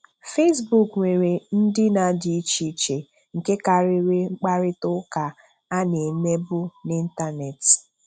Facebook nwere ndịna dị iche iche nke karịrị mkparịta ụka a na-emebụ n'Ịntanet.